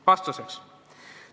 Vastus on selline.